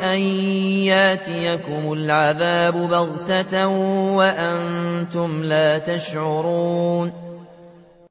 أَن يَأْتِيَكُمُ الْعَذَابُ بَغْتَةً وَأَنتُمْ لَا تَشْعُرُونَ